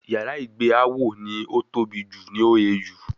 Yàrá ìgbé Áwọ̀ ní ó tóbi jù ní OAU